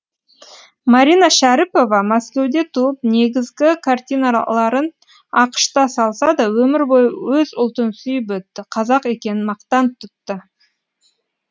марина шәріпова мәскеуде туып негізгі картиналарын ақш та салса да өмір бойы өз ұлтын сүйіп өтті қазақ екенін мақтан тұтты